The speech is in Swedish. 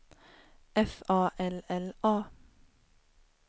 F A L L A